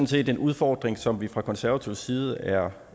set en udfordring som vi fra konservativ side er